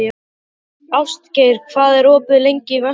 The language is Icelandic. Ástgeir, hvað er opið lengi í Vesturbæjarís?